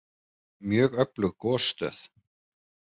Mjög öflug gosstöð